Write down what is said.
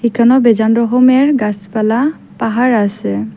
এখানেও বেজান রকমের গাসপালা পাহাড় আসে।